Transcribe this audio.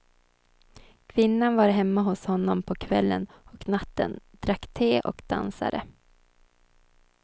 Kvinnan var hemma hos honom på kvällen och natten, drack te och dansade.